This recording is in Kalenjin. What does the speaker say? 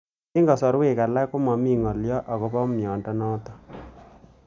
Eng'kasarwek alak ko mami ng'alyo akopo miondo notok